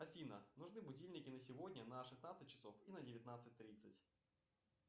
афина нужны будильники на сегодня на шестнадцать часов и на девятнадцать тридцать